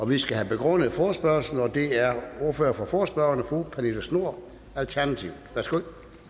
vi skal have begrundet forespørgslen og det er ordføreren for forespørgerne fru pernille schnoor alternativet værsgo